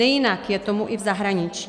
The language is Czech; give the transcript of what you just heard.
Nejinak je tomu i v zahraničí.